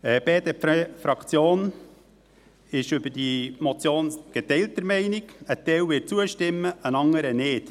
Die BDP-Fraktion ist bei dieser Motion geteilter Meinung, ein Teil wird zustimmen, ein anderer nicht.